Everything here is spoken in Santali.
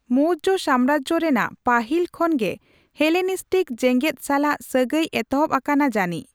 ᱢᱚᱣᱡᱚ ᱥᱟᱢᱨᱟᱡᱡᱚ ᱨᱮᱱᱟᱜ ᱯᱟᱹᱦᱤᱞ ᱠᱷᱚᱱ ᱜᱮ ᱦᱮᱞᱮᱱᱤᱥᱴᱤᱠ ᱡᱮᱜᱮᱫ ᱥᱟᱞᱟᱜ ᱥᱟᱹᱜᱟᱹᱭ ᱮᱛᱚᱦᱚᱵ ᱟᱠᱟᱱᱟ ᱡᱟᱹᱱᱤᱪ ᱾